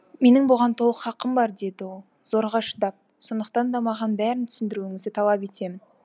менің бұған толық хақым бар деді ол зорға шыдап сондықтан да маған бәрін түсіндіруіңізді талап етемін